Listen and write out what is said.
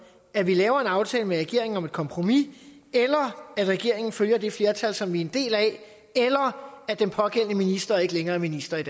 at vi laver en aftale med regeringen om et kompromis eller at regeringen følger det flertal som vi er en del af eller at den pågældende minister ikke længere er minister i